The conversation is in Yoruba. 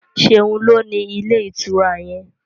Seun ló ní Ilé-ìtura yén.